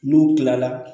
N'u kilala